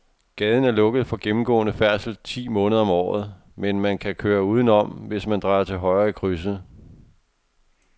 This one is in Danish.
Gaden er lukket for gennemgående færdsel ti måneder om året, men man kan køre udenom, hvis man drejer til højre i krydset.